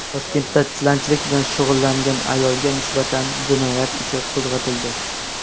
Toshkentda tilanchilik bilan shug‘ullangan ayolga nisbatan jinoyat ishi qo‘zg‘atildi.